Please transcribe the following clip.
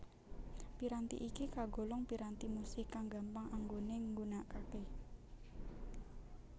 Piranti iki kagolong piranti musik kang gampang anggone nggunakake